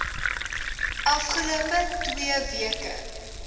afgelope twee weke